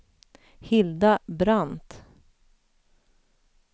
Hilda Brandt